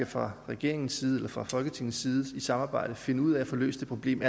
fra regeringens side eller fra folketingets side i samarbejde finder ud af at få løst det problem